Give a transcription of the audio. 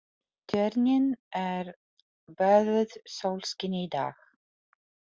Tjörnin er böðuð sólskini í dag.